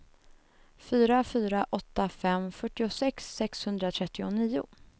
fyra fyra åtta fem fyrtiosex sexhundratrettionio